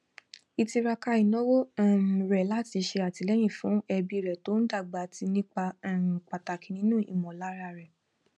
ìtiraka ìnáwó um rẹ láti ṣe atilẹyin fún ẹbí rẹ tó ń dàgbà ti ń ipa um pàtàkì nínú ìmọlára rẹ